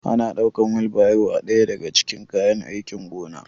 Ana ɗaukan wilbairo a ɗaya daga cikin kayan aikin gona